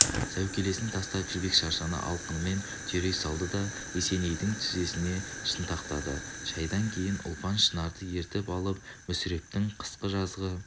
сәукелесін тастап жібек шаршыны алқымынан түйрей салды да есенейдің тізесіне шынтақтады шайдан кейін ұлпан шынарды ертіп алып мүсірептің қысқы-жазғы